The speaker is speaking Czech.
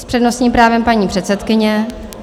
S přednostním právem paní předsedkyně.